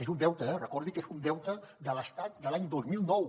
és un deute eh recordi que és un deute de l’estat de l’any dos mil nou